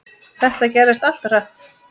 Þetta gerðist allt of hratt.